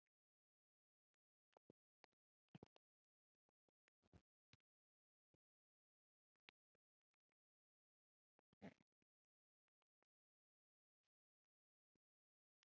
Utan vallar.